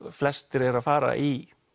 flestir eru að fara í